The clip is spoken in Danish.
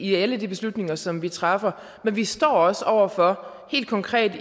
i alle de beslutninger som vi træffer men vi stod også over for helt konkret